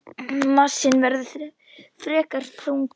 Massinn verður frekar þunnur.